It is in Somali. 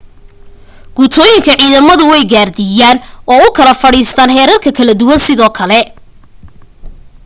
guutooyinka ciidamadu way gaardiyaan oo u kala fadhiistaan heerar kala duwan sidoo kale